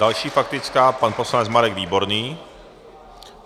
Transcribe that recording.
Další faktická pan poslanec Marek Výborný.